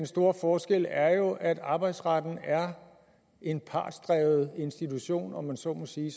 store forskel er jo at arbejdsretten er en partsdrevet institution om man så må sige